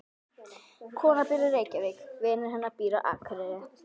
Konan býr í Reykjavík. Vinur hennar býr á Akureyri.